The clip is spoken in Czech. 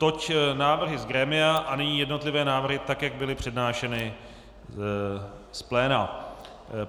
Toť návrhy z grémia a nyní jednotlivé návrhy tak, jak byly přednášeny z pléna.